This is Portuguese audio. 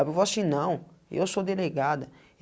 Aí ela falou assim, não, eu sou delegada.